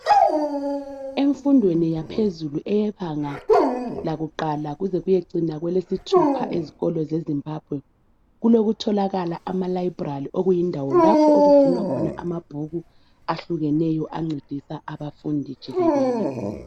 emfundweni yaphezulu eyebanga lakuqala kuze kuyecina kwelesithupha ezikolo ze Zimbabwe kulokutholakala ama library okuyindawo lapho okugcinwa khona amabhuku ahlukeneyo ancedisa abafundi jikelele